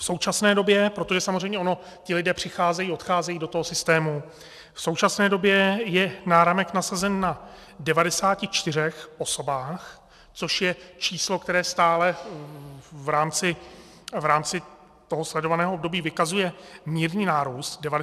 V současné době, protože samozřejmě ono ti lidé přicházejí, odcházejí do toho systému, v současné době je náramek nasazen na 94 osobách, což je číslo, které stále v rámci toho sledovaného období vykazuje mírný nárůst - 94 osob tedy.